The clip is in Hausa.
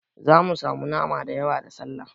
Zamu samu nama da yawa da Sallah